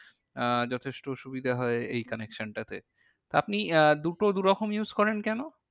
আহ যথেষ্ট সুবিধা হয় এই connection টা তে। আপনি আহ দুটো দুরকম use করেন কেন?